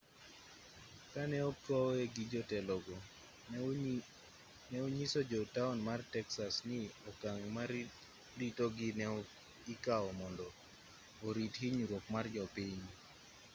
kane okowe gi jotelogo ne onyiso jo taon mar texas ni okang' mar ritogi ne ikaw mondo orit hinyruok mar jopiny